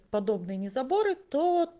подобные не заборы то